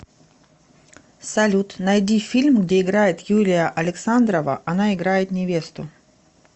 салют найди фильм где играет юлия александрова она играет невесту